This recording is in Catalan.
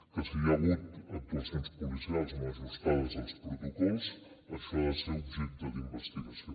que si hi ha hagut actuacions policials no ajustades als protocols això ha de ser objecte d’investigació